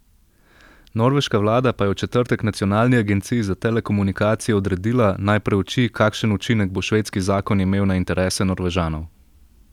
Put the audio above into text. Norveška vlada pa je v četrtek nacionalni agenciji za telekomunikacije odredila, naj preuči, kakšen učinek bo švedski zakon imel na interese Norvežanov.